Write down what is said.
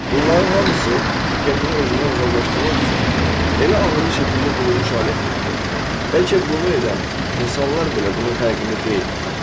Bunların hamısı diqqətini özündən uzaqlaşdırmaq üçün elə ağıllı şəkildə qurulmuş alətdir ki, bəlkə bunu edən insanlar belə bunun fərqində deyillər.